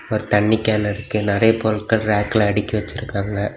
ஒரு தண்ணி கேன் இருக்கு நறைய பொருட்கள் ரேக்ல அடுக்கி வச்சிருக்காங்க.